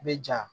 I bɛ ja